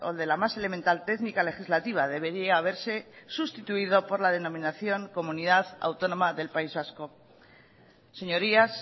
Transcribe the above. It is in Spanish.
de la más elemental técnica legislativa debería haberse sustituido por la denominación comunidad autónoma del país vasco señorías